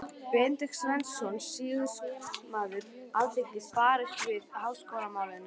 Benedikt Sveinsson, sýslumaður og alþingismaður, barðist fyrir háskólamálinu.